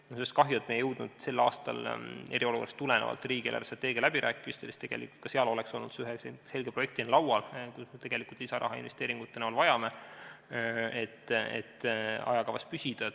Mul on kahju, et me ei jõudnud sel aastal eriolukorra tõttu riigi eelarvestrateegia läbirääkimistel selle teemaga rohkem tegeleda, sest ka seal oleks see olnud ühe selge projektina laual, kui palju tegelikult me lisaraha investeeringute näol vajame, et ajakavas püsida.